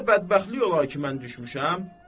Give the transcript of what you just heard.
Belə də bədbəxtlik olar ki, mən düşmüşəm?